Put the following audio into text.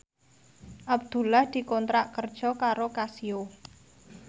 Abdullah dikontrak kerja karo Casio